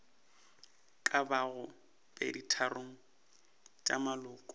ka bago peditharong tša maloko